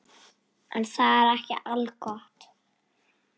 En það er ekki algott.